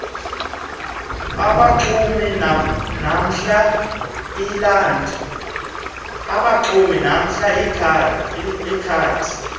abaxumi namhla iland